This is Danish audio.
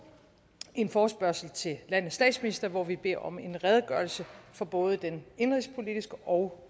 en forespørgsel til landets statsminister hvor vi beder om en redegørelse for både den indenrigspolitiske og